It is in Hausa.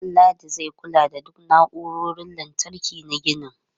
Danladi zai kula da duk na'urorin lantarki na ginin.